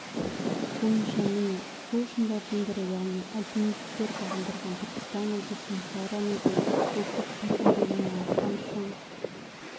бойынша міне сол шыңдардың бірі яғни альпинистер бағындырған түркістан облысының сайрам-өгем ұлттық паркінде орналасқан шың